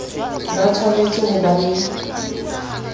ba tshwanetse ho ba le